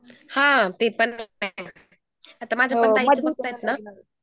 हां ते पण आता माझ्या पण ताईला बघतायेत ना